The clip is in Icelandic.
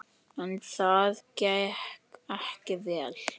En það gekk ekki vel.